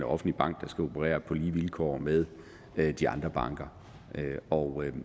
offentlig bank der skal operere på lige vilkår med de andre banker og